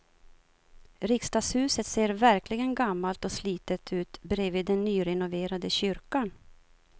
Riksdagshuset ser verkligen gammalt och slitet ut bredvid den nyrenoverade kyrkan.